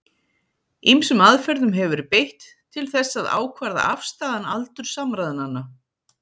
Ýmsum aðferðum hefur verið beitt til þess að ákvarða afstæðan aldur samræðnanna.